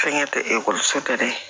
Fɛnkɛ tɛ ekɔliso tɛ dɛ